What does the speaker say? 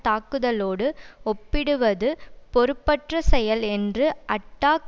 தாக்குதலோடு ஒப்பிடுவது பொறுப்பற்ற செயல் என்று அட்டாக்